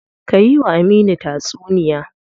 Ka yi wa Aminu tatsuniya.